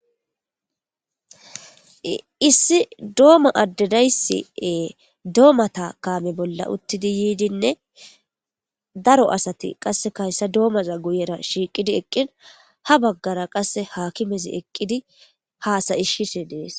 issi dooma addedaysie doomata kaame bolla uttidi yiidinne daro asati qasse kahyssa doomaza guyera shiiqidi eqqin ha baggara qasse hakimezi eqqidi haasayishshise dees